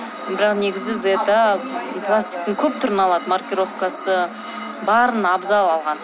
бірақ негізі зета пластиктың көп түрін алады маркировкасы барын абзал алған